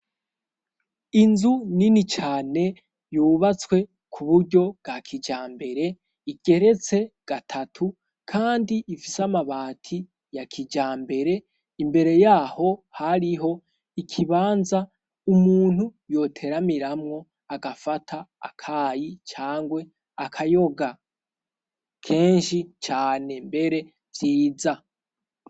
Inzu nini cane yubatswe ku buryo bwa kijambere igeretse gatatu kandi ifise amabati ya kijambere imbere yaho hariho ikibanza umuntu yoteramiramwo agafata akayi cangwe akayoga kenshi cane mbere nziza.